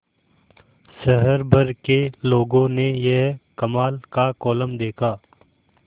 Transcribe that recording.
शहर भर के लोगों ने यह कमाल का कोलम देखा